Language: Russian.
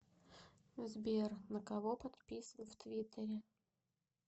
сбер на кого подписан в твиттере